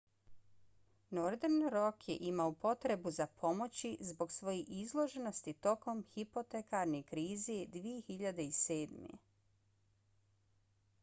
northern rock je imao potrebu za pomoći zbog svoje izloženosti tokom hipotekarne krize 2007